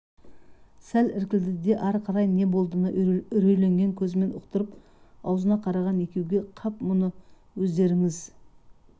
сәл іркілді де ары қарай не болдыны үрейленген көзімен ұқтырып аузына қараған екеуге қап бұны өздеріңіз